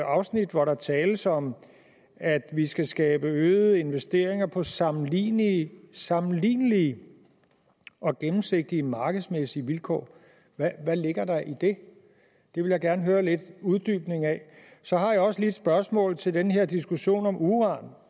afsnit hvor der tales om at vi skal skabe øgede investeringer på sammenlignelige sammenlignelige og gennemsigtige markedsmæssige vilkår hvad ligger der i det det vil jeg gerne have en uddybning af så har jeg også lige et spørgsmål til den her diskussion om uran